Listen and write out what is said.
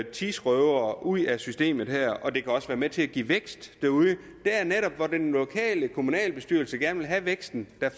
tidsrøvere ud af systemet og det kan også være med til at give vækst derude det er netop hvor den lokale kommunalbestyrelse gerne vil have væksten at